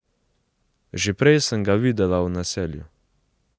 Že prej sem ga videla v naselju.